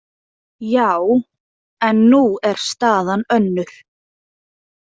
Já, en nú er staðan önnur.